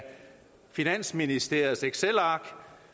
finansministeriets excelark